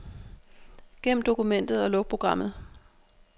Gem dokumentet og luk programmet.